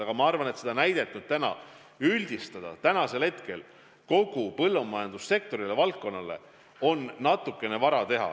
Samas ma arvan, et seda näidet üldistada kogu põllumajandussektorile, kogu valdkonnale on natukene vara.